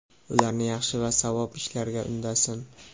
ularni yaxshi va savob ishlarga undasin.